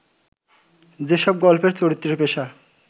যেসব গল্পের চরিত্রের পেশা